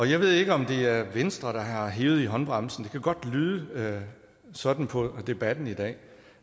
jeg ved ikke om det er venstre der har hevet i håndbremsen det kan godt lyde sådan på debatten i dag